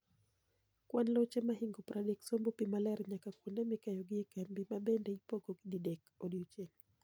Kwan loche mahingo 30 sombo pii maler nyaka kuonde mikeyogie e kambi, mabende ipong'ogi didek odiochieng'.